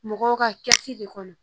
Mɔgɔw ka kɛsi de kɔnɔ